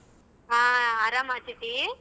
ಹಾ ಅರಾಮ ಅಥಿತಿ?